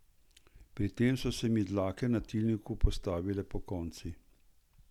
Pri tem so se mi dlake na tilniku postavile pokonci.